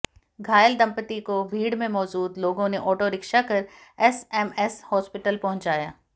घायल दंपती को भीड़ में मौजूद लोगों ने आॅॅटोरिक्शा कर एसएमएस हॉस्पिटल पहुंचाया